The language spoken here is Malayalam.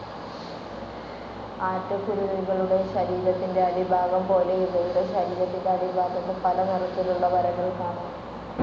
ആറ്റക്കുരുവികളുടെ ശരീരത്തിന്റെ അടിഭാഗം പോലെ ഇവയുടെ ശരീരത്തിന്റെ അടിഭാഗത്തും പല നിറത്തിലുള്ള വരകൾ കാണാം.